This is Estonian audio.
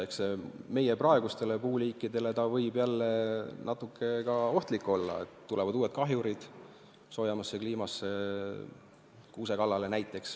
Eks see võib meie praegustele puuliikidele natuke ohtlik olla, sest soojemasse kliimasse tulevad uued kahjurid, näiteks kuuse kallale.